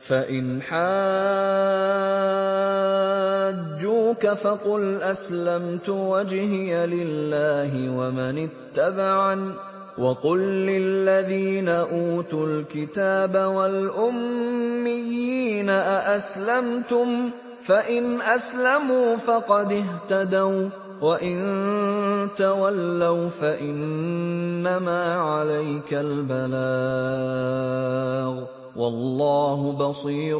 فَإِنْ حَاجُّوكَ فَقُلْ أَسْلَمْتُ وَجْهِيَ لِلَّهِ وَمَنِ اتَّبَعَنِ ۗ وَقُل لِّلَّذِينَ أُوتُوا الْكِتَابَ وَالْأُمِّيِّينَ أَأَسْلَمْتُمْ ۚ فَإِنْ أَسْلَمُوا فَقَدِ اهْتَدَوا ۖ وَّإِن تَوَلَّوْا فَإِنَّمَا عَلَيْكَ الْبَلَاغُ ۗ وَاللَّهُ بَصِيرٌ